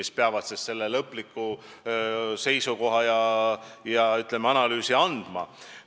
See analüüs peab siis aitama võtta lõpliku seisukoha.